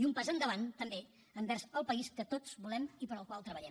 i un pas endavant també envers el país que tots volem i per al qual treballem